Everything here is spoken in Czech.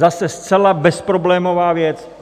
Zase zcela bezproblémová věc.